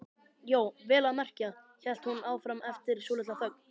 Já, vel að merkja, hélt hún áfram eftir svolitla þögn.